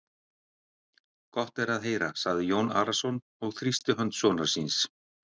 Gott er að heyra, sagði Jón Arason og þrýsti hönd sonar síns.